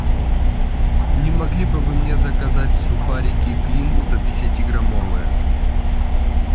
не могли бы вы мне заказать сухарики флин сто пятидесяти граммовые